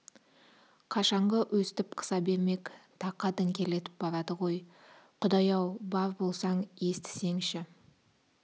қашанғы өстіп қыса бермек тақа діңкелетіп барады ғой құдай-ау бар болсаң естісеңші